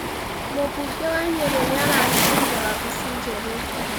Mumbunge wa Nyeri nĩ arahingũrire wabici njerũ.